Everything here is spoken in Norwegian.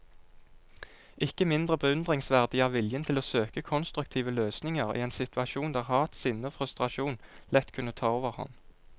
Ikke mindre beundringsverdig er viljen til å søke konstruktive løsninger i en situasjon der hat, sinne og frustrasjon lett kunne ta overhånd.